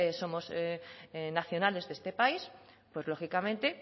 somos nacionales de este país pues lógicamente